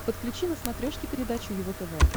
подключи на смотрешке передачу его тв